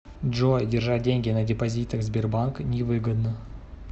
джой держать деньги на депозитах сбербанка невыгодно